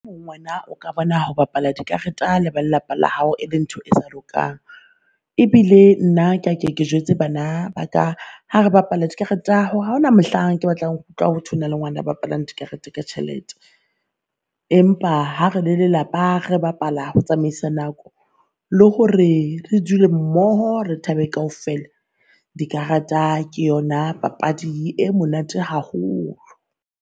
O ka bona ho bapala dikareta le ba lelapa la hao e le ntho e sa lokang. Ebile nna ke a ke jwetse bana ba ka hare bapala dikareta hore haona mohlang ke batla ho utlwa hothwe hona le ngwana a bapalang dikarete ka tjhelete. Empa ha re le lelapa re bapala ho tsamaisa nako, lo hore re dule mmoho, re thabe kaofela, dikarata ke yona papadi e monate haholo.